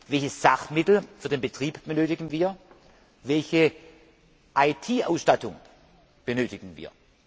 Welche Sachmittel für den Betrieb benötigen wir? Welche IT Ausstattung benötigen wir?